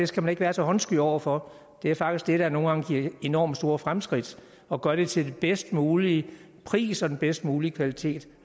skal man ikke være så håndsky over for det er faktisk det der nogle gange giver enormt store fremskridt og gør det til den bedst mulige pris og den bedst mulige kvalitet